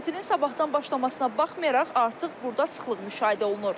Tətilin sabahtan başlamasına baxmayaraq, artıq burda sıxlıq müşahidə olunur.